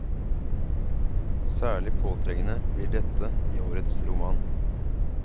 Særlig påtrengende blir dette i årets roman.